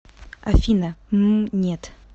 афина мм нет